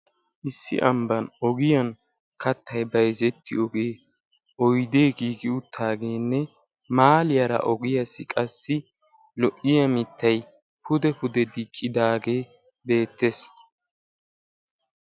Issi ambbaan ogiyaan kattay bayzettiyoogenne oydee giigi uttaageenne mahaaliyaara ogiyaassi qassi lo"iyaa mittay pude pude diccidaagee beettees.